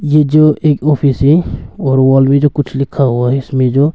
यह जो एक ऑफिस है और वॉल में जो कुछ लिखा हुआ है इसमें जो--